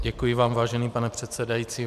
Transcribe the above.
Děkuji vám, vážený pane předsedající.